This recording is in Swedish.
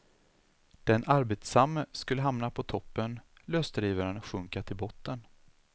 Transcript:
Den arbetsamme skulle hamna på toppen, lösdrivaren sjunka till botten.